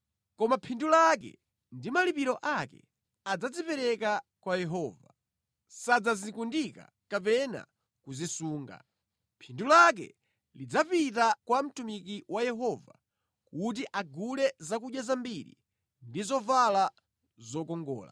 Koma phindu lake ndi malipiro ake adzazipereka kwa Yehova; sadzazikundika kapena kuzisunga. Phindu lake lidzapita kwa mtumiki wa Yehova kuti agule zakudya zambiri ndi zovala zokongola.